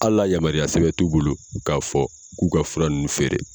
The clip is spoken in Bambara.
Hali a yamaruya sɛbɛn t'u bolo k'a fɔ k'u ka fura nun feere.